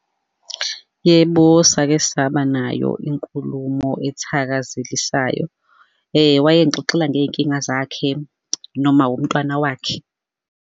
Yebo, sake saba nayo inkulumo ethakazelisayo. Wayengixoxela ngey'nkinga zakhe, nomawomntwana wakhe.